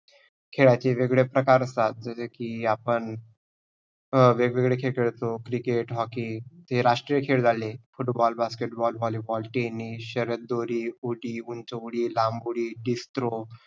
खेळाचे वेग-वेगळे प्रकार असतात. जसे की आप अं वेग-वेगळे खेळ खेळतो cricket, hockey हे राष्ट्रीय खेळ झाले. football, basketball, volleyball, tennis, शरद-दोरी, ऊटी, उंच उडी, लांब उडी, disk throw